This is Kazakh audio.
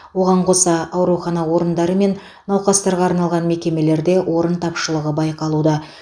оған қоса аурухана орындары мен науқастарға арналған мекемелерде орын тапшылығы байқалуда